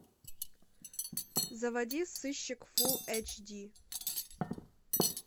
заводи сыщик фулл эйч ди